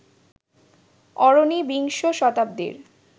অরণি বিংশ শতাব্দীর